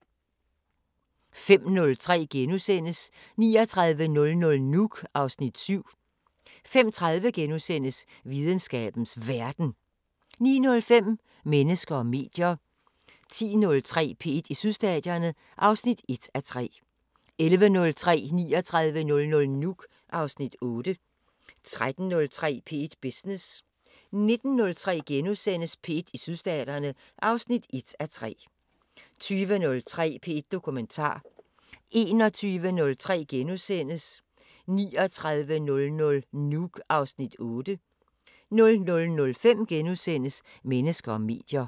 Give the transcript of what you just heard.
05:03: 3900 Nuuk (Afs. 7)* 05:30: Videnskabens Verden * 09:05: Mennesker og medier 10:03: P1 i Sydstaterne (1:3) 11:03: 3900 Nuuk (Afs. 8) 13:03: P1 Business 19:03: P1 i Sydstaterne (1:3)* 20:03: P1 Dokumentar 21:03: 3900 Nuuk (Afs. 8)* 00:05: Mennesker og medier *